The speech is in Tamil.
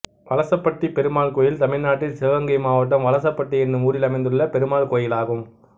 வலசப்பட்டி பெருமாள் கோயில் தமிழ்நாட்டில் சிவகங்கை மாவட்டம் வலசப்பட்டி என்னும் ஊரில் அமைந்துள்ள பெருமாள் கோயிலாகும்